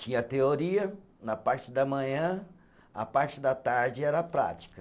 Tinha teoria na parte da manhã, a parte da tarde era prática.